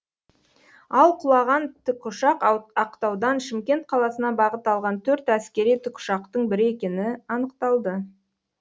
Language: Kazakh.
ал құлаған тікұшақ ақтаудан шымкент қаласына бағыт алған төрт әскери тікұшақтың бірі екені анықталды